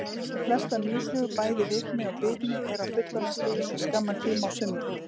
Flestar mýflugur, bæði rykmý og bitmý eru á fullorðna stiginu í skamman tíma á sumrin.